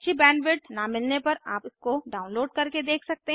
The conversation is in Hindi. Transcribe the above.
अच्छी बैंडविड्थ न मिलने पर आप इसको डाउनलोड करके देख सकते हैं